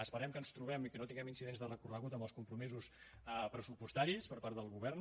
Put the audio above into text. esperem que ens trobem i que no tinguem incidents de recorregut amb els compromisos pressupostaris per part del govern